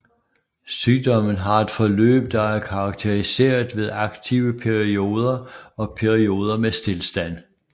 Sygdommen har et forløb der er karakteriseret ved aktive perioder og perioder med stilstand